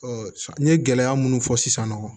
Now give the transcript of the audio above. n ye gɛlɛya minnu fɔ sisannɔ